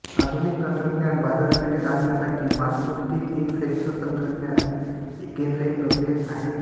आधुनिक तंत्रज्ञान बाजारपेठेत आणण्यासाठी मॉस्को स्थित एक संयुक्त तंत्रज्ञान केंद्रही प्रक्रियेत आहे